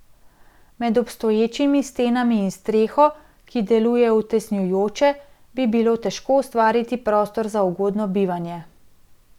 Med obstoječimi stenami in streho, ki delujejo utesnjujoče, bi bilo težko ustvariti prostor za ugodno bivanje.